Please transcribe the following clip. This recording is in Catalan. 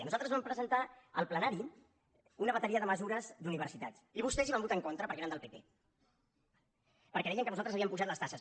nosaltres vam presentar al ple·nari una bateria de mesures d’universitat i vostès hi van votar en contra perquè eren del pp perquè deien que nosaltres havíem apujat les taxes